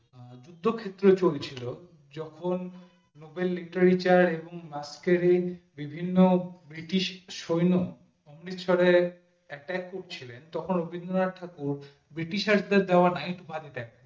যুদ্ধ ক্ষেত্রেও যখন চলছিল যখন নোবেল নিতে চান আজকের এই বিভিন্ন ব্রিটিশ সৈন্য অমৃতসরে attack করছিলো তখন রবীন্দ্রনাথ ঠাকুর ব্রিটিশেরদের দেওয়া knight উপাধি ত্যাগ করে ছিলেন